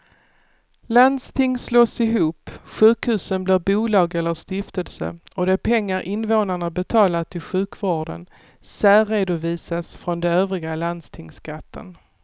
Landsting slås ihop, sjukhusen blir bolag eller stiftelser och de pengar invånarna betalar till sjukvården särredovisas från den övriga landstingsskatten.